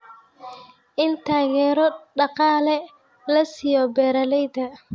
In taageero dhaqaale la siiyo beeralayda.